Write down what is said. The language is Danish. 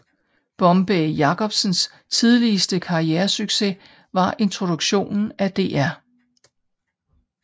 Bombay Jakobsens tidligste karrieresucces var introduktionen af Dr